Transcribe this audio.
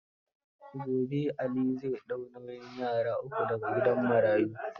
Gobe Ali zai ɗau nauyin yara uku da ga gidan marayu.